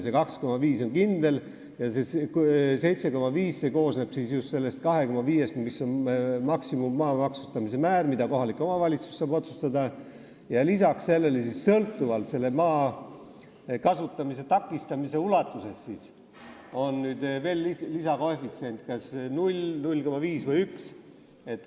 Tähendab, see 2,5 on kindel ja 7,5 koosneb just sellest 2,5-st, mis on maa maksustamise maksimummäär, mida kohalik omavalitsus saab otsustada, ja peale selle on sõltuvalt selle maa kasutamise takistamise ulatusest veel lisakoefitsient kas 0, 0,5 või 1.